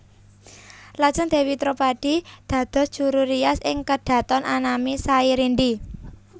Lajeng Dèwi Dropadi dados juru rias ing kedhaton anami Sairindi